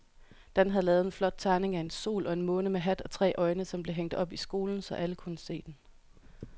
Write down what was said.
Dan havde lavet en flot tegning af en sol og en måne med hat og tre øjne, som blev hængt op i skolen, så alle kunne se den.